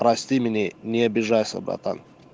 прости меня не обижайся братан